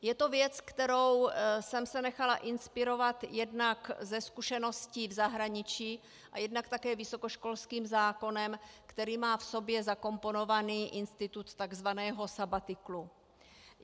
Je to věc, kterou jsem se nechala inspirovat jednak ze zkušeností v zahraničí a jednak také vysokoškolským zákonem, který má v sobě zakomponovaný institut takzvaného sabatiklu.